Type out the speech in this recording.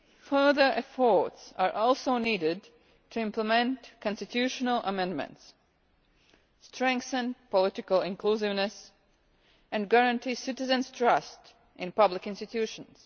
Further efforts are also needed to implement constitutional amendments, strengthen political inclusiveness, and guarantee citizens' trust in public institutions.